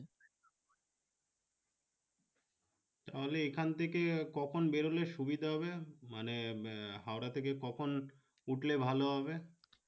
তাহলে এখান থেকে কখন বের হলে সুবিধা হবে? মানে হাওড়া থেকে কখন উঠলে ভালো হবে?